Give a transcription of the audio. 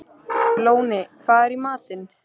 Lóni, hvað er í matinn?